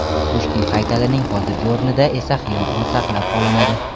Pushkin haykalining hozirgi o‘rnida esa xiyobon saqlab qolinadi.